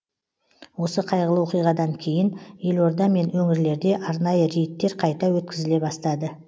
осы қайғылы оқиғадан кейін елорда мен өңірлерде арнайы рейдтер қайта өткізіле бастады